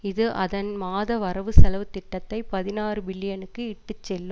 இது அதன் மாத வரவு செலவு திட்டத்தை பதினாறு பில்லியனுக்கு இட்டுச்செல்லு